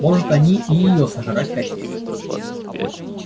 может они и её сожрать хотели